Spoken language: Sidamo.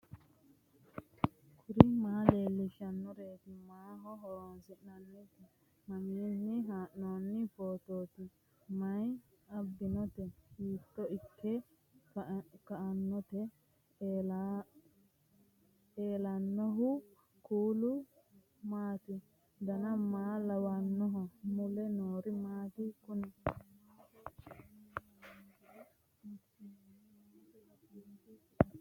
kuri maa leellishannoreeti maaho horoonsi'noonnireeti mamiinni haa'noonni phootooti mayi abbinoote hiito ikke kainote ellannohu kuulu maati dan maa lawannoho mule noori maati kuni